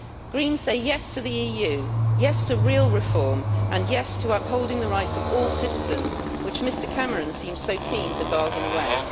Greens say yes' to the EU, yes' to real reform and yes' to upholding the rights of all citizens, which Mr Cameron seems so keen to bargain away.